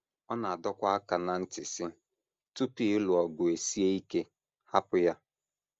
Ọ na - adọkwa aka ná ntị, sị: “ Tupu ịlụ ọgụ esie ike hapụ ya. ”